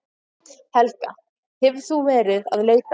Helga: Hefur þú verið að leita?